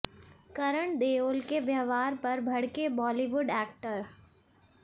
करण देओल के व्यवहार पर भड़के बॉलीवुड एक्टर